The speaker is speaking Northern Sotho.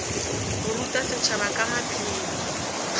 go ruta setšhaba ka maphelo